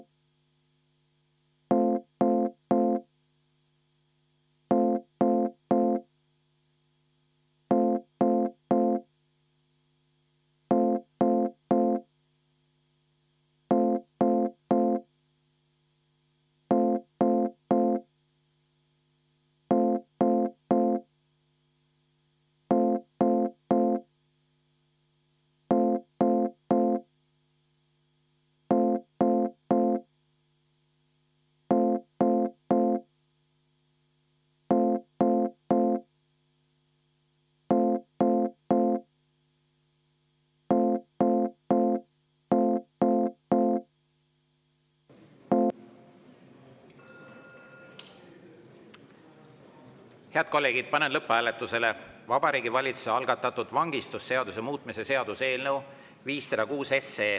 Head kolleegid, panen lõpphääletusele Vabariigi Valitsuse algatatud vangistusseaduse muutmise seaduse eelnõu 506.